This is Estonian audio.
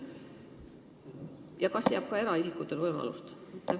Ja kas antakse ka eraisikutele võimalus?